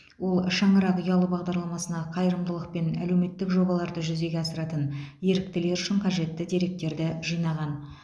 ол шаңырақ ұялы бағдарламасына қайырымдылық пен әлеуметтік жобаларды жүзеге асыратын еріктілер үшін қажетті деректерді жинаған